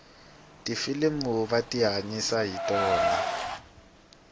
tifilimu va tihanyisa hi tona